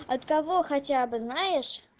от кого хотя бы знаешь